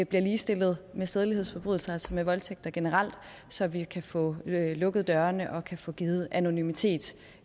bliver ligestillet med sædelighedsforbrydelser altså med voldtægter generelt så vi kan få lukket dørene og kan få givet anonymitet